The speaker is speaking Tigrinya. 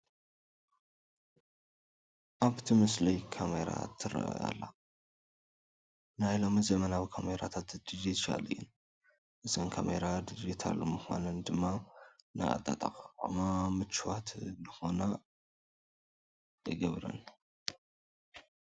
ኣብቲ ምስሊ ካሜራ ትርአ ኣላ፡፡ ናይ ሎሚ ዘመናዊ ካሜራታት ዲጂታል እየን፡፡ እዘን ካሜራ ዲጅታል ምዃነን ድማ ንኣጠቓቕማ ምችዋት ንኽኾና ይገብረን፡፡